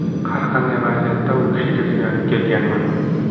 Har qanday vaziyatda u kishiga suyanib kelganman.